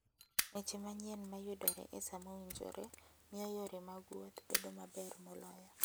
Weche manyien ma yudore e sa mowinjore, miyo yore mag wuoth bedo maber moloyo.